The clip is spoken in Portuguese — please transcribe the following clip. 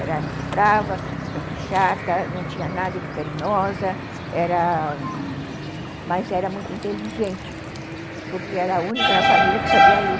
Era muito brava, muito chata, não tinha nada de carinhosa, era... mas era muito inteligente, porque era a única na família que sabia ler.